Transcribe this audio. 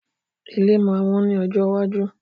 Ilé máa wón ní ọjọ́ iwájú